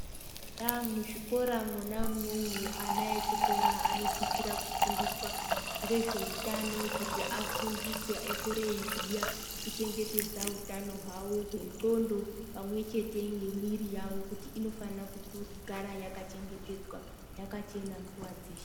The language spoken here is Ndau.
Eya muzvikora mwona umwomwo ana echikora anosisira kufundiswa ngezveutano kuti afundiswe akure eyiziya kuchengetedza utano hwawo wendxondo pamwechete nemwiri yawo kuti inofanirwa kugara yakachengetedzwa yakachena nguwa dzeshe.